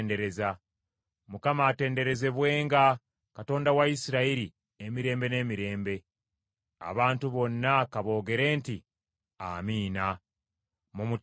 Mukama atenderezebwenga, Katonda wa Isirayiri, emirembe n’emirembe. Abantu bonna ka boogere nti, “Amiina!” Mumutendereze Mukama .